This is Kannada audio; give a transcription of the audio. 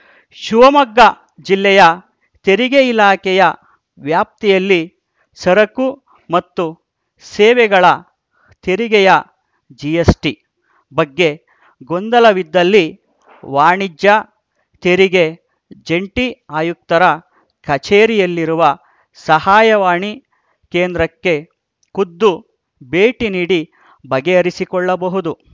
ಶಿವಮೊಗ್ಗ ಜಿಲ್ಲೆಯ ತೆರಿಗೆ ಇಲಾಖೆಯ ವ್ಯಾಪ್ತಿಯಲ್ಲಿ ಸರಕು ಮತ್ತು ಸೇವೆಗಳ ತೆರಿಗೆಯ ಜಿಎಸ್‌ಟಿ ಬಗ್ಗೆ ಗೊಂದಲವಿದ್ದಲ್ಲಿ ವಾಣಿಜ್ಯ ತೆರಿಗೆ ಜಂಟಿ ಆಯುಕ್ತರ ಕಚೇರಿಯಲ್ಲಿರುವ ಸಹಾಯವಾಣಿ ಕೇಂದ್ರಕ್ಕೆ ಖುದ್ದು ಭೇಟಿ ನೀಡಿ ಬಗೆಹರಿಸಿಕೊಳ್ಳಬಹುದು